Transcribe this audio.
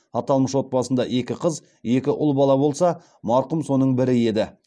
аталмыш отбасында екі қыз екі ұл бала болса марқұм соның бірі еді